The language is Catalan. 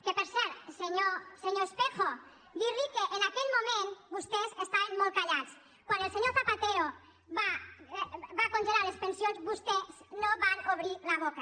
que per cert senyor espejo dir li que en aquell moment vostès estaven molt callats quan el senyor zapatero va congelar les pensions vostès no van obrir la boca